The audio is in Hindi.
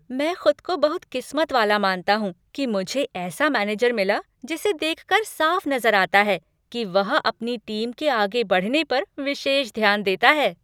मैं खुद को बहुत किस्मत वाला मानता हूँ कि मुझे ऐसा मैनेजर मिला जिसे देख कर साफ नजर आता है कि वह अपनी टीम के आगे बढ़ने पर विशेष ध्यान देता है।